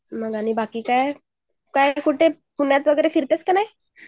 मग आणि बाकी काय ? कुठं पुण्यात वगेरे फिरतेस कि नाही